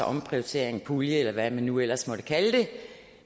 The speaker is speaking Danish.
omprioritering pulje eller hvad man nu ellers måtte kalde det